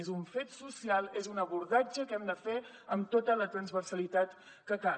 és un fet social és un abordatge que hem de fer amb tota la transversalitat que cal